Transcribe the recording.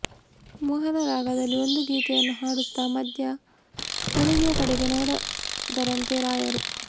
ಮೋಹನ ರಾಗದಲ್ಲಿ ಒಂದು ಗೀತೆಯನ್ನು ಹಾಡುತ್ತ ಮಧ್ಯೆ ಹುಡುಗಿಯ ಕಡೆಗೆ ನೋಡಿದರಂತೆ ರಾಯರು